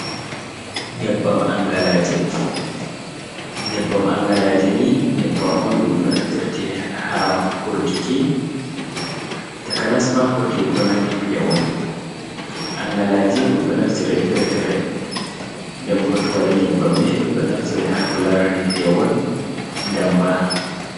Nyebbam angalaje, nyebbam angalaje ni nyebbam on ɗumɗo naftirte ha hurkiki takanasma hurki ko nandi pewol angalaje ɗum ɗo naftiri fre-fere dembo to waɗi nyebbamma ɗum ɗo naftire ha ko larani pewol damba.